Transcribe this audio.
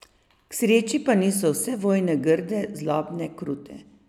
K sreči pa niso vse vojne grde, zlobne, krute.